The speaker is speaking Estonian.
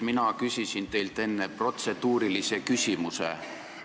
Mina küsisin teilt enne protseduurilise küsimuse.